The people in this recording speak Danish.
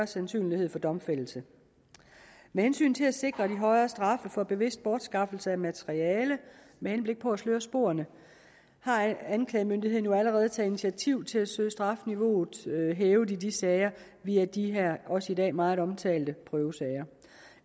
sandsynlighed for domfældelse med hensyn til at sikre de højere straffe for bevidst bortskaffelse af materiale med henblik på at sløre sporene har anklagemyndigheden jo allerede taget initiativ til at søge strafniveauet hævet i de sager via de her også i dag meget omtalte prøvesager